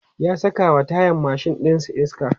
ya sakawa tayan mashin ɗin iska